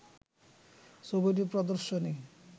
“ছবিটির প্রদর্শনী